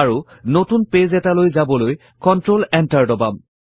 আৰু নতুন পেজ এটালৈ যাবলৈ কন্ট্ৰল Enter দবাম